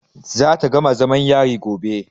Za ta gama zamam yari gobe.